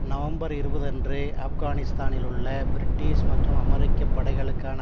November இருபது அன்று ஆப்கானிஸ்தானில் உள்ள பிரிட்டிஷ் மற்றும் அமெரிக்க படைகளுக்கான